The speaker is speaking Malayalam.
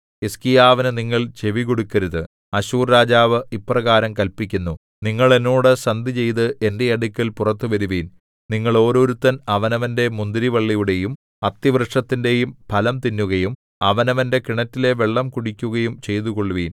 ഹിസ്കീയാവിനു നിങ്ങൾ ചെവികൊടുക്കരുത് അശ്ശൂർ രാജാവ് ഇപ്രകാരം കല്പിക്കുന്നു നിങ്ങൾ എന്നോട് സന്ധിചെയ്ത് എന്റെ അടുക്കൽ പുറത്തു വരുവിൻ നിങ്ങൾ ഓരോരുത്തൻ അവനവന്റെ മുന്തിരിവള്ളിയുടെയും അത്തിവൃക്ഷത്തിന്റെയും ഫലം തിന്നുകയും അവനവന്റെ കിണറ്റിലെ വെള്ളം കുടിക്കുകയും ചെയ്തുകൊള്ളുവിൻ